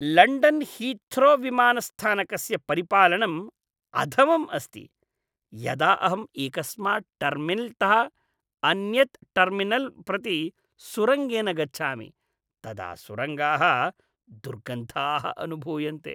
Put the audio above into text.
London हीथ्रोविमानस्थानकस्य परिपालनम् अधमम् अस्ति। यदा अहम् एकस्मात् टर्मिनल्तः अन्यत् टर्मिनल् प्रति सुरङ्गेन गच्छामि, तदा सुरङ्गाः दुर्गन्धाः अनुभूयन्ते।